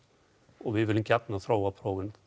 og við viljum gjarnan þróa prófin